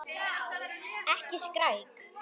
Ekki skræk.